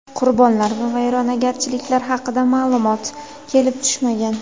Qurbonlar va vayronagarchiliklar haqida ma’lumot kelib tushmagan.